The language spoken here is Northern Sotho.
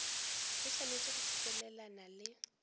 e swanetše go sepelelana le